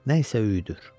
nə isə öyüdür.